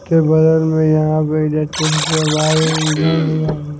के बगल में यहां पे इलेक्ट्रिसिटी वायर इधर में--